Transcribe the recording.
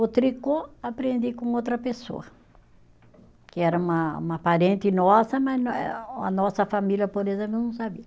O tricô aprendi com outra pessoa, que era uma uma parente nossa, mas a nossa família, por exemplo, não sabia.